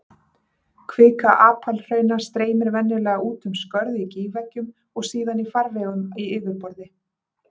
Kvika apalhrauna streymir venjulega út um skörð í gígveggjum og síðan í farvegum í yfirborði.